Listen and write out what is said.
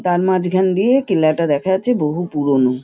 তার মাঝখান দিয়ে কেল্লাটা দেখা যাচ্ছে বহু পুরোনো।